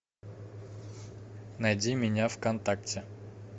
найди меня в контакте